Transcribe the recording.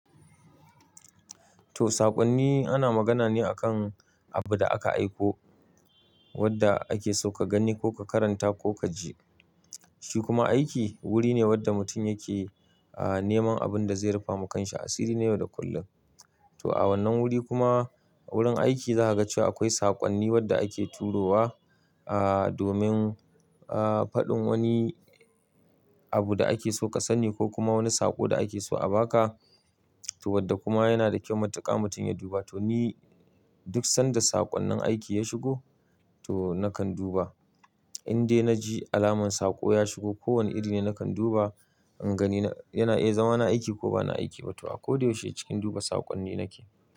To, saƙonni ana magana ne akan abu da aka aiko wanda ake so ka gani ko ka karanta ko ka ji. Shi kuma aiki wuri ne wanda mutum yake, aah, neman abin da zai rufe wa kansa asiri ne yau da kullum. To a wannan wuri kuma, wurin aiki za ka ga cewa akwai saƙonni wadda ake turo wa, ah, domin, ah, faɗin wani abu da ake so ka sani ko kuma wani saƙo da ake so a ba ka. To wadda kuma yana da kyau matuƙa mutum ya duba. To ni duk sanda saƙonnin aiki ya shigo, to nakan duba. Indai na ji alamar saƙo ya shigo, ko wane iri ne nakan duba in gani yana, iya, zama na aiki ko ba na aiki ba. To a kodayaushe cikin duba saƙonni nake.